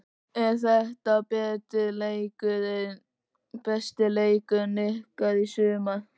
Er þetta besti leikurinn ykkar í sumar?